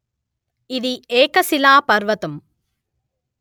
ఇది ఏక శిలా పర్వతము